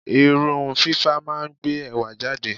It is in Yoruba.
Irun fífá máa ń gbé ẹwà jáde.